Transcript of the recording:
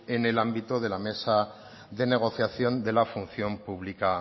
en el ámbito de la mesa de negociación de la función pública